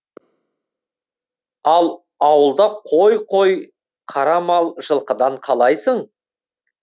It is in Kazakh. ал ауылда қой қой қара мал жылқыдан қалайсың